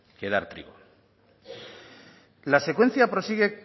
que dar trigo la secuencia prosigue